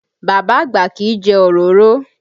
Bàbá àgbà kì í jẹ òróró